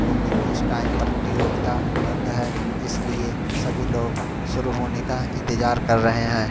लेकिन इस टाइम प्रतियोगिता बंद है इसलिए सभी लोग शुरू होने का इंतजार कर रहे हैं।